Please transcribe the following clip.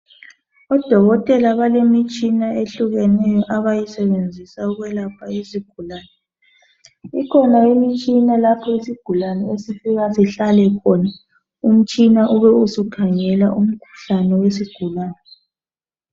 Odokotela balemitshina ehlukeneyo abayisebenzisa ukwelapha izigulane. Kukhona umtshina lapho isigulane esifika sihlale khona, umtshina ube usukhangela umkhuhlane wesigulane.